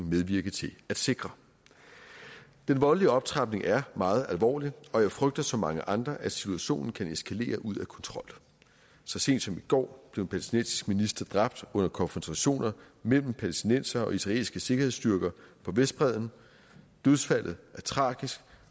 medvirke til at sikre den voldelige optrapning er meget alvorlig og jeg frygter som mange andre at situationen kan eskalere ud af kontrol så sent som i går blev en palæstinensisk minister dræbt under konfrontationer mellem palæstinensere og israelske sikkerhedsstyrker på vestbredden dødsfaldet er tragisk